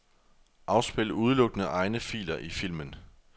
Afspil udelukkende egne filer i filmen.